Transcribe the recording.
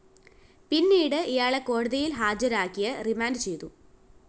പിന്നീട് ഇയാളെ കോടതിയില്‍ ഹാജരാക്കിയ റിമാൻഡ്‌ ചെയ്തു